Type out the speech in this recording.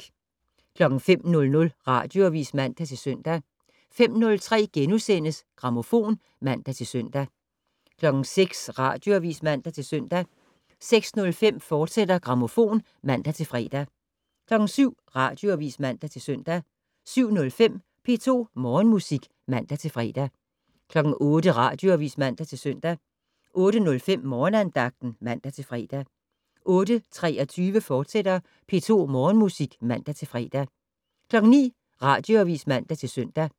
05:00: Radioavis (man-søn) 05:03: Grammofon *(man-søn) 06:00: Radioavis (man-søn) 06:05: Grammofon, fortsat (man-fre) 07:00: Radioavis (man-søn) 07:05: P2 Morgenmusik (man-fre) 08:00: Radioavis (man-søn) 08:05: Morgenandagten (man-fre) 08:23: P2 Morgenmusik, fortsat (man-fre) 09:00: Radioavis (man-søn)